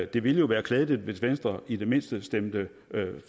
det ville jo være klædeligt hvis venstre i det mindste stemte